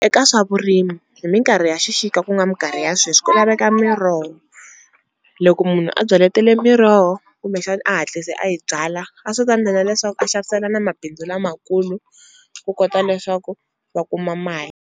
Eka swa vurimi hi minkarhi ya xixika ku nga minkarhi ya sweswi ku laveka miroho, loko munhu a byaletele miroho kumbexani a hatlise a yi byala a swi ta endlela leswaku a xavisela na mabindzu lamakulu ku kota leswaku va kuma mali.